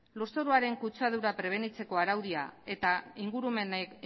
lur zoruaren kutsadura prebenitzeko araudia eta